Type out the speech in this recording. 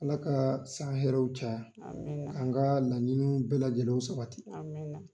Ala ka san hɛrɛw caya amina k'an ka laɲiniw bɛɛ lajɛlenw sabati amina.